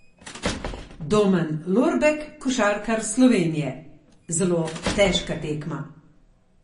Domen Lorbek, košarkar Slovenije: "Zelo težka tekma.